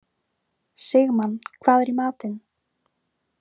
Sigmann, hvað er í matinn?